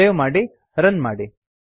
save ಮಾಡಿ run ಮಾಡಿ